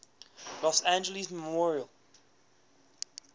los angeles memorial